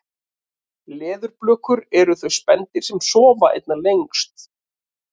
leðurblökur eru þau spendýr sem sofa einna lengst